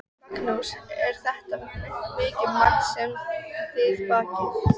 Magnús: Er þetta mikið magn sem þið bakið?